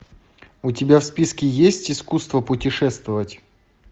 у тебя в списке есть искусство путешествовать